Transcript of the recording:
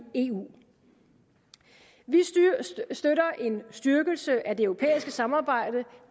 eu vi støtter en styrkelse af det europæiske samarbejde